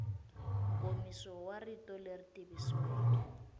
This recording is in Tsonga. nkomiso wa rito leri tikisiweke